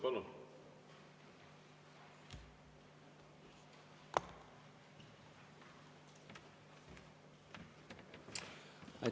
Palun!